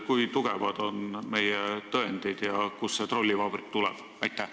Kui tugevad on meie tõendid ja kust see trollivabrik tuleb?